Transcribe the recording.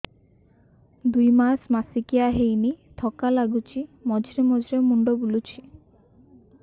ଦୁଇ ମାସ ମାସିକିଆ ହେଇନି ଥକା ଲାଗୁଚି ମଝିରେ ମଝିରେ ମୁଣ୍ଡ ବୁଲୁଛି